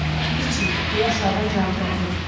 "Ləpirçi!" deyə aşağıdan cavab gəldi.